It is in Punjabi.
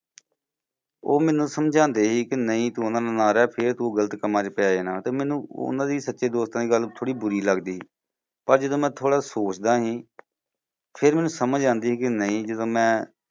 ਉਹ ਮੈਨੂੰ ਸਮਝਾਉਂਦੇ ਸੀ ਕਿ ਨਹੀਂ ਤੂੰ ਉਨ੍ਹਾਂ ਨਾਲ ਨਾ ਰਹਿ ਫੇਰ ਤੂੰ ਗਲਤ ਕੰਮਾਂ ਚ ਪੈ ਜਾਣਾ ਤੇ ਮੈਨੂੰ ਉਨ੍ਹਾਂ ਦੀ ਸੱਚੇ ਦੋਸਤਾਂ ਦੀ ਗੱਲ ਥੋੜੀ ਬੂਰੀ ਲੱਗਦੀ ਸੀ ਪਰ ਜਦੋਂ ਮੈਂ ਥੋੜਾ ਸੋਚਦਾ ਸੀ ਫੇਰ ਮੈਨੂੰ ਸਮਝ ਆਉਂਦੀ ਸੀ ਕਿ ਨਹੀਂ ਜਦੋਂ ਮੈਂ